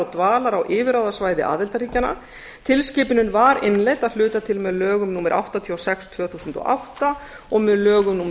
dvalar á yfirráðasvæði aðildarríkjanna tilskipunin var innleidd að hluta til með lögum númer áttatíu og sex tvö þúsund og átta og með lögum númer